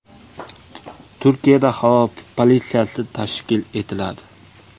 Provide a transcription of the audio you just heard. Turkiyada havo politsiyasi tashkil etiladi.